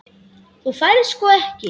Þú færð sko ekki.